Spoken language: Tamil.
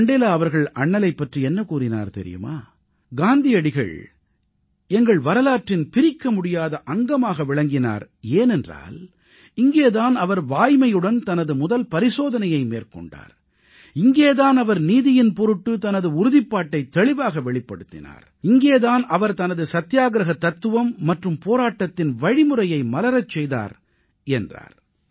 மண்டேலா அவர்கள் அண்ணலைப் பற்றி என்ன கூறினார் தெரியுமா காந்தியடிகள் எங்கள் வரலாற்றின் பிரிக்கமுடியாத அங்கமாக விளங்கினார் எனென்றால் இங்கே தான் அவர் வாய்மையுடன் தனது முதல் பரிசோதனையை மேற்கொண்டார் இங்கே தான் அவர் நீதியின் பொருட்டு தனது உறுதிப்பாட்டைத் தெளிவாக வெளிப்படுத்தினார் இங்கே தான் அவர் தனது சத்தியாகிரஹ தத்துவம் மற்றும் போராட்டத்தின் வழிமுறையை மலரச் செய்தார் என்றார்